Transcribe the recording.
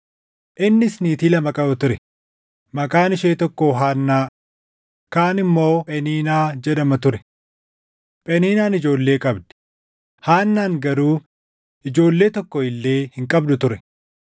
Innis niitii lama qaba ture; maqaan ishee tokko Haannaa, kaan immoo Pheniinaa jedhama ture. Pheniinaan ijoollee qabdi; Haannaan garuu ijoollee tokko illee hin qabdu ture.